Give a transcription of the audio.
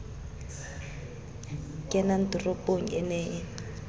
kenang toropong e ne e